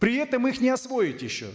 при этом их не освоить еще